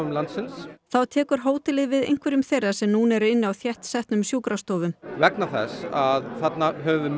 landsins þá tekur hótelið við einhverjum þeirra sem núna eru inni á þéttsetnum sjúkrastofum vegna þess að þarna höfum